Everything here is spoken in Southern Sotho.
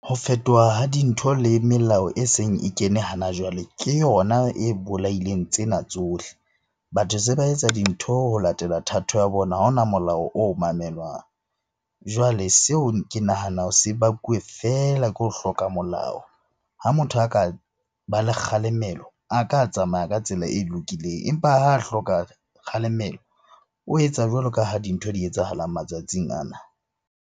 Ho fetoha ha dintho le melao eseng e kene hana jwale ke yona e bolaileng tsena tsohle. Batho se ba etsa dintho ho latela thato ya bona, ha hona molao o mamelwang. Jwale seo ke nahanang se bakuwe feela ke ho hloka molao. Ha motho a ka ba le kgalemelo, a ka tsamaya ka tsela e lokileng. Empa ha hloka kgalemelo o etsa jwalo ka ha dintho di etsahalang matsatsing ana.